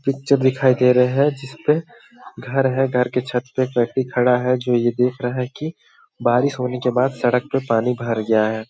Picture दिखाई दे रहा है जिसपे घर है घर के छत पे एक व्यक्ति खड़ा हैं जो ये देख रहा हैं कि बारिश होने के बाद सड़क पे पानी भर गया हैं।